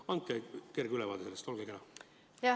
Andke kerge ülevaade sellest, olge kena!